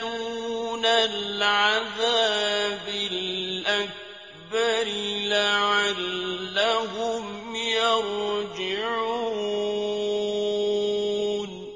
دُونَ الْعَذَابِ الْأَكْبَرِ لَعَلَّهُمْ يَرْجِعُونَ